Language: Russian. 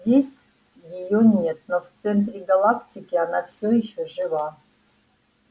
здесь её нет но в центре галактики она все ещё жива